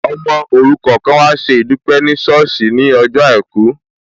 Ọmọ òrukàn kan an wá ṣe ìdúpẹ́ ní ṣọ́ọ̀sì ní ọjọ́ àìkú